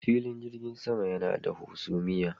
Filin jirgin sama yana da hasumiya.